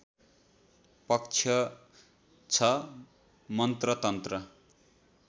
पक्ष छ मन्त्र तन्त्र